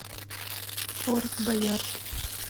форт боярд